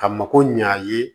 Ka mako ɲa a ye